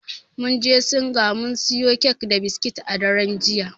Mun je singa mun siyo kek da biskit a daren jiya.